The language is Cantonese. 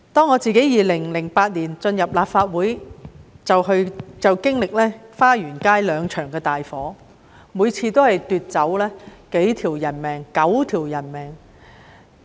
我在2008年進入立法會後，就經歷花園街兩場大火，每次都奪去數條人命 ......9 條人命。